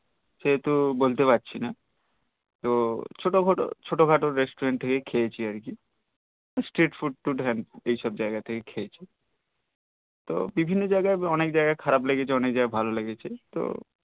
সে তো বলতে পারছি না তো ছোট খাট restaurant থেকেই খেয়েছি আর কি street food টুট এইসব জাইগা থেকেই খেয়েছি তো বিভিন্ন জায়গায় বি অনেক জায়গা খারাপ লেগেছে অনেক ভালো লেগেছে তো